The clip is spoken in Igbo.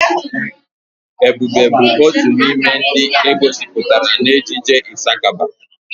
Ebube bụ otu n'ime ndị e gosipụtara n'ejije Ịsakaba.